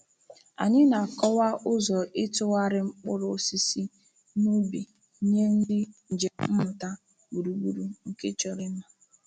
Anyị na-akọwa ụzọ ịtụgharị mkpụrụ osisi n’ubi nye ndị njem mmụta gburugburu nke chọrọ ịma.